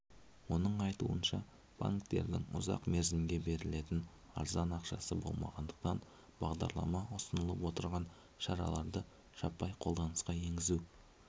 оның айтуынша банктердің ұзақ мерзімге берілетін арзан ақшасы болмағандықтан бағдарламада ұсынылып отырған шараларды жаппай қолданысқа енгізу